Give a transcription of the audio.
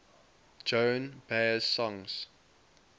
joan baez songs